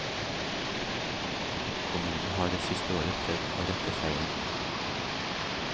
Kommunen har det siste året prøvd å rette feilen.